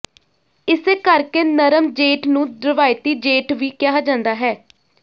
ਇਸੇ ਕਰਕੇ ਨਰਮ ਜੇਡ ਨੂੰ ਰਵਾਇਤੀ ਜੇਡ ਵੀ ਕਿਹਾ ਜਾਂਦਾ ਹੈ